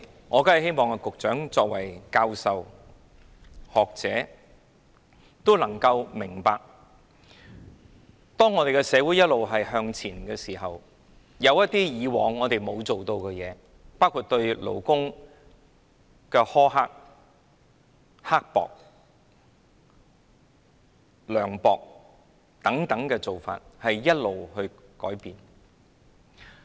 我希望局長作為教授、學者，能夠明白，當社會一直向前，一些以往沒有去改善的做法，包括對勞工苛刻、涼薄的做法，要不斷改善。